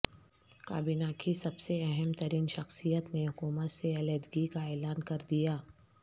کابینہ کی سب سے اہم ترین شخصیت نے حکومت سے علیحدگی کا اعلان کر دیا